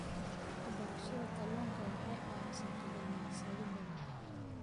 Waxbarashada kalluunka waxa ay caawisaa kalluumaysato badan.